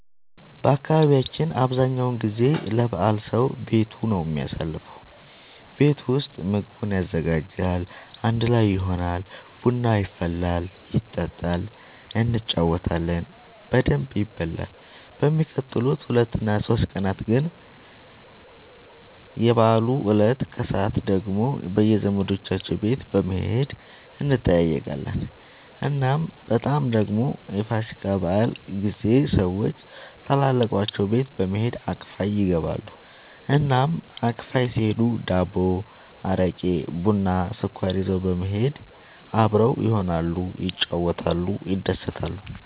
በአካባቢያችን አብዛኛው ጊዜ ለበዓል ሰዉ ቤቱ ነው የሚያሳልፈው። ቤት ውስጥ ምግቡን ያዘጋጃል፣ አንድ ላይ ይሆናል፣ ቡና ይፈላል ይጠጣል እንጫወታለን በደንብ ይበላል በሚቀጥሉት ሁለት እና ሶስት ቀናት ግን እና የበዓሉ እለት ከሰዓት ደግሞ በየዘመዶቻቸው ቤት በመሄድ እንጠያየቃለን። እናም በጣም ደግሞ የፋሲካ በዓል ጊዜ ሰዎች ታላላቆቻቸው ቤት በመሄድ አክፋይ ይገባሉ። እናም አክፋይ ሲሄዱ ዳቦ፣ አረቄ፣ ቡና፣ ስኳር ይዘው በመሄድ አብረው ይሆናሉ፣ ይጫወታሉ፣ ይደሰታሉ።